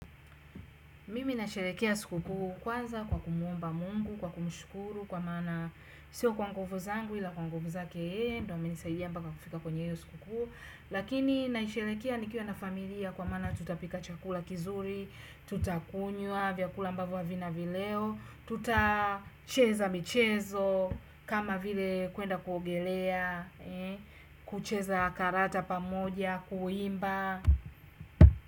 Mimi nasherehekea sikukuu kwanza kwa kumuomba Mungu, kwa kumshukuru kwa maana sio kwa nguvu zangu ila kwa nguvu zake yeye, ndio amenisaidia mpaka kufika kweny hiyo sikukuu. Lakini naisherehekea nikiwa na familia kwa maana tutapika chakula kizuri. Tutakunywa vyakula ambavyo havina vileo. Tutacheza michezo, kama vile kuenda kuogelea kucheza karata pamoja, kuimba.